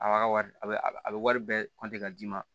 A b'a ka wari a bɛ a bɛ wari bɛɛ ka d'i ma